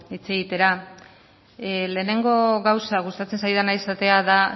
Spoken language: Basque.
hitz egitera lehenengo gauza gustatzen zaidana esatea da